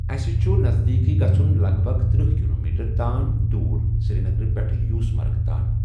اَسہِ چھُ نَزدیٖٮکٕے گژھُن لگ بگ ترٕٛہ کِلومیٖٹر تانۍ دوٗر سری نگرٕ پٮ۪ٹھ یوٗسمَرگہِ تانۍ۔